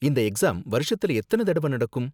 இந்த எக்ஸாம் வருஷத்துல எத்தனை தடவ நடக்கும்?